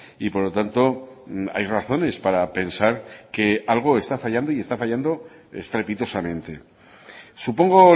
y por lo tanto hay razones para pensar que algo está fallando y está fallando estrepitosamente supongo